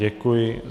Děkuji.